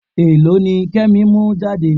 Èlò ni Kẹ́mi mú jáde?